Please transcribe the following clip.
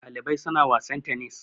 Ɗalibai suna wasan tenis